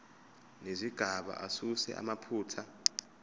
nezigaba asuse amaphutha